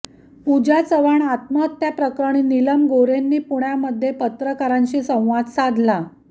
पूजा चव्हाण आत्महत्याप्रकरणी निलम गोऱ्हेंनी पुण्यामध्ये पत्रकारांशी संवाद साधला